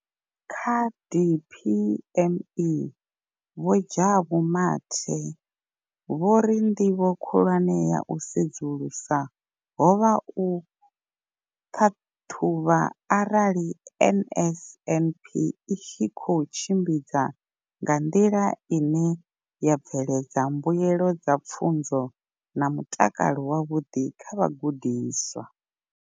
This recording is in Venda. Kha DPME, Vho Jabu Mathe, vho ri ndivho khulwane ya u sedzulusa ho vha u ṱhaṱhuvha arali NSNP i tshi khou tshimbidzwa nga nḓila ine ya bveledza mbuelo dza pfunzo na mutakalo wavhuḓi kha vhagudiswa.